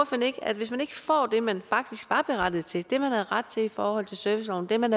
at hvis man ikke får det man faktisk var berettiget til det man havde ret til i forhold til serviceloven det man